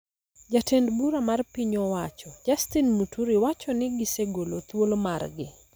Jatend bura mar piny owacho, Justin Muturi, wacho ni gisegolo thuolo margi.